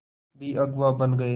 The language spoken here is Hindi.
भी अगुवा बन गए